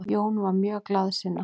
Jón var mjög glaðsinna.